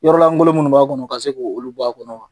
Yɔrɔ langolo minnu b'a kɔnɔ ka se k'olu bɔ a kɔnɔ wa?